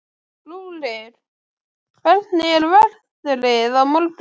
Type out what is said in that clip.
Rúrik, hvernig er veðrið á morgun?